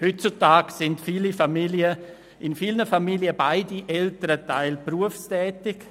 Heutzutage sind in vielen Familien beide Elternteile berufstätig.